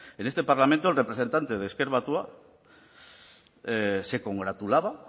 en este parlamento el representante de ezker batua se congratulaba